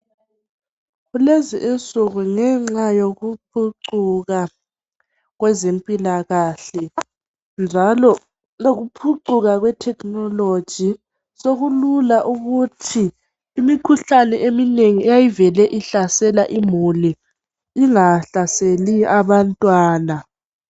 Kulezi insuku ngenxa yokuphucuka kwezempilakahle njalo lokuphucuka kwetechnology sokulula ukuthi imikhuhlane eminengi eyayivele ihlasela imuli ingahlaseli abantwana